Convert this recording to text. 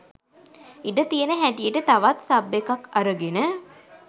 ඉඩ තියෙන හැටියට තවත් සබ් එකක් අරගෙන